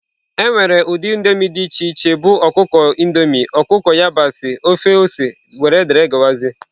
Enwere ụdị indomie dị iche iche bụ ọkụkọ Indomie, ọkụkọ yabasị, ofe ose wdg.